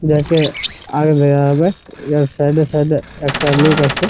দেখে আগে বের হওয়া যাক এএ সাইড -এ সাইড -এ একটা লোক আছে ।